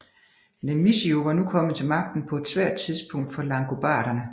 Lamissio var nu kommet til magten på et svært tidspunkt for langobarderne